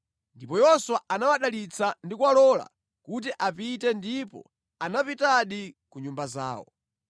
Ndipo Yoswa anawadalitsa ndi kuwalola kuti apite ndipo anapitadi ku nyumba zawo.